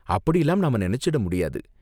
அப்படிலாம் நாம நினைச்சிட முடியாது.